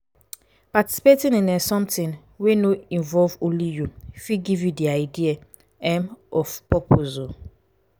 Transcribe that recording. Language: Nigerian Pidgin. participating in um something wey no involve only you fit give you di idea um of purpose um